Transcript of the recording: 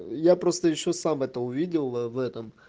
я просто ещё сам это увидел в этом